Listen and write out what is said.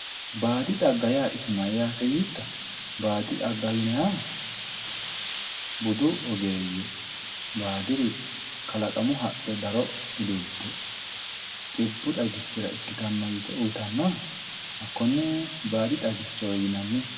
baadi xagga yaa isi mayyate yiittoro baadi xagga yinannihu budu ogeeyye baadiri kalaqamu haqqe daro udulte xibbu xagichira ikkitanno yite uyiitannoha hakonne baadi xagichowe yinanni.